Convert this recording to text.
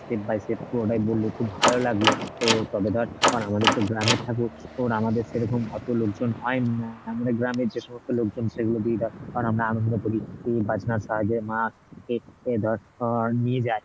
step by step পুরোটাই বললি, খুব ভালো লাগলো তো তবে ধর আমাদের তো গ্রামের ঠাকুর তোর আমাদের সেরকম অত লোক জন হয়নি আহ আমাদের গ্রামের যে সমস্ত লোক জন সেগুলো দিয়ে ধর আমরা আনন্দ করি বাজনার সাহায্যে মা কে ধর আহ নিয়ে যাই